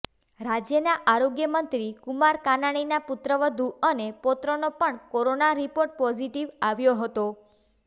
રાજ્યના આરોગ્યમંત્રી કુમાર કાનાણીના પુત્રવધુ અને પૌત્રનો પણ કોરોના રિપોર્ટ પોઝિટિવ આવ્યો હતો